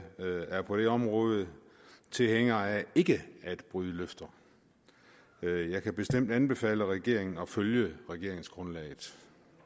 er på det område tilhænger af ikke at bryde løfter jeg kan bestemt anbefale regeringen at følge regeringsgrundlaget